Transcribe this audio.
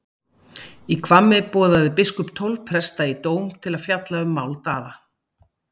Í Hvammi boðaði biskup tólf presta í dóm til að fjalla um mál Daða.